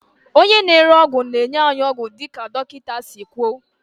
onye na-ere ọgwụ na-enye anyị ọgwụ dịka dọkịta si kwuo